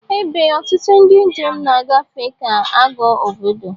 Ebe ọtụtụ ndị njem na-agafe ga-aghọ obodo